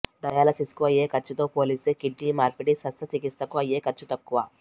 డయాలసిస్కు అయ్యే ఖర్చుతో పోలిస్తే కిడ్నీ మార్పిడి శస్త్ర చికిత్సకు అయ్యే ఖర్చు తక్కువ